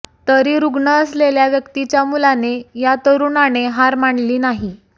तरी रुग्ण असलेल्या व्यक्तीच्या मुलाने या तरूणाने हार मानली नाही